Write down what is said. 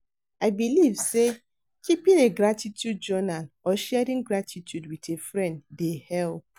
I believe say keeping a gratitude journal or sharing gratitude with a friend dey help.